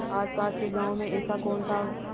आसपास के गाँवों में ऐसा कौन था